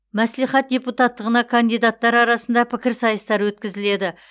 мәслихат депутаттығына кандидаттар арасында пікірсайыстар өткізіледі